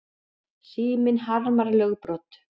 Síminn harmar lögbrot